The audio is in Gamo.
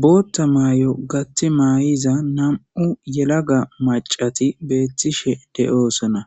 bootta mayy7o gatti may7iza nam7u yelaga macati beettishe de7oosona